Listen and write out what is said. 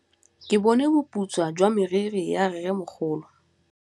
Ke bone boputswa jwa meriri ya rrêmogolo.